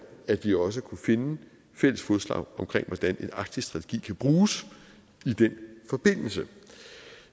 at vi også kunne finde fælles fodslag om hvordan en arktisk strategi kan bruges i den forbindelse